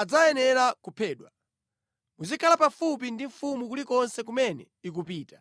adzayenera kuphedwa. Muzikhala pafupi ndi mfumu kulikonse kumene ikupita.”